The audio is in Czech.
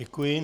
Děkuji.